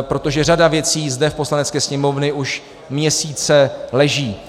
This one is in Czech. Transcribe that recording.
protože řada věcí zde v Poslanecké sněmovně už měsíce leží.